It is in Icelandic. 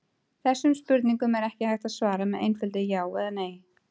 Þessum spurningum er ekki hægt að svara með einföldu já eða nei.